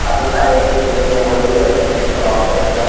काफी सारे कीड़े मकोड़े भी रहते हैं इस तलाव के अंदर --